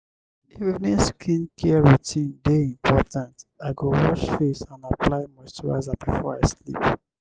evening skincare routine dey important i go wash face and apply moisturizer before i sleep